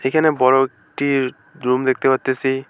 এখানে বড় একটি রুম দেখতে পারতেসি।